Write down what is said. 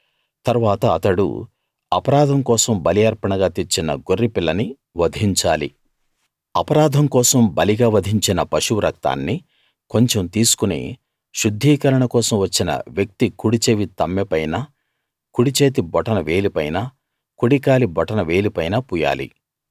తరువాత అతడు అపరాధం కోసం బలి అర్పణగా తెచ్చిన గొర్రెపిల్లని వధించాలి అపరాధం కోసం బలిగా వధించిన పశువు రక్తాన్ని కొంచెం తీసుకుని శుద్ధీకరణ కోసం వచ్చిన వ్యక్తి కుడిచెవి తమ్మెపైన కుడిచేతి బొటన వేలిపైన కుడి కాలి బొటన వేలిపైన పూయాలి